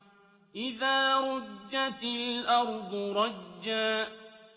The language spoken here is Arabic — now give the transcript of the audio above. إِذَا رُجَّتِ الْأَرْضُ رَجًّا